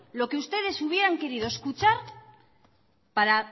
lo que ustedes hubieran querido escuchar para